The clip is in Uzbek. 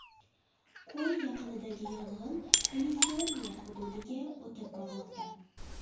Ko‘l yaqinidagi yong‘in Kaliforniya hududiga o‘tib bormoqda.